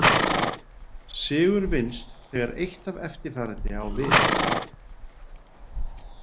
Sigur vinnst þegar eitt af eftirfarandi á við.